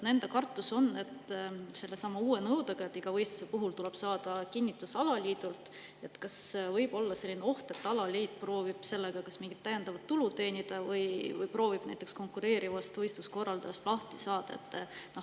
Nad kardavad, et sellesama uue nõudega, et iga võistluse puhul tuleb alaliidult kinnitus saada, võib kaasneda oht, et alaliit proovib selle abil kas mingit täiendavat tulu teenida või konkureerivast võistluse korraldajast lahti saada.